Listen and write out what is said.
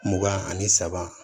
Mugan ani saba